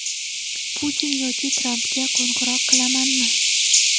Putin yoki Trampga qo‘ng‘iroq qilamanmi?